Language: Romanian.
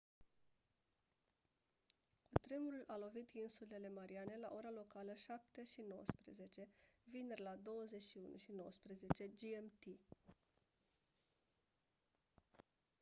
cutremurul a lovit insulele mariane la ora locală 07:19 vineri la 21:19 gmt